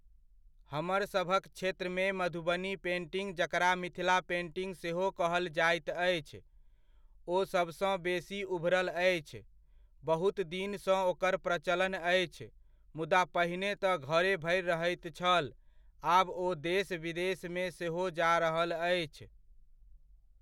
हमरसभक क्षेत्रमे मधुबनी पेंटिंग जकरा मिथिला पेंटिंग सेहो कहल जाइत अछि, ओ सभसँ बेसी उभरल अछि। बहुत दिनसँ ओकर प्रचलन अछि, मुदा पहिने तऽ घरे भरि रहैत छल, आब ओ देश विदेश सेहो जा रहल अछि।